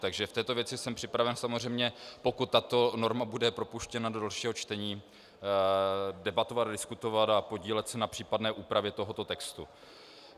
Takže v této věci jsem připraven, samozřejmě pokud tato norma bude propuštěna do dalšího čtení, debatovat, diskutovat a podílet se na případné úpravě tohoto textu.